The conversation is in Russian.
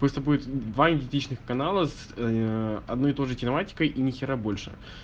пусть будет два идентичных канала с одной и той же тематикой и нехера больше